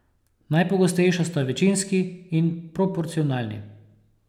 Najpogostejša sta večinski in proporcionalni.